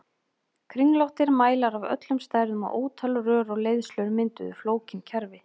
Kringlóttir mælar af öllum stærðum og ótal rör og leiðslur mynduðu flókin kerfi.